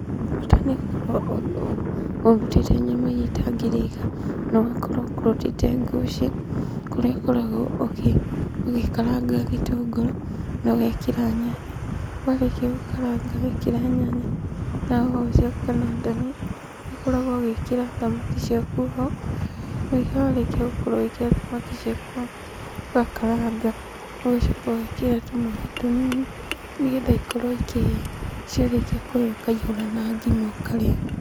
Bata nĩ ũkorwo ũru, ũru, ũrutĩte nyama iria itangĩrĩka, na ũgakorwo ũkũrũtĩte ngũcĩ, kũrĩa ũkoragwo ũkĩ, ũgĩkaranga gĩtũngũrũ na ũgekĩra nyanya, warĩkia gũkaranga wekĩra nyanya na hoho ciaku kana ndania, nĩ ũkoragwo ũgĩkĩra thamaki ciaku ho, warĩkia gũkorwo ũgĩkĩra thamaki ciaku ho ũgakaranga, ũgacoka ũgekĩra tũmaaĩ tũnini nĩgetha ikorwo ikĩhĩa. Ciarĩkia kũhĩa ũkaihũra na ngima ũkarĩa.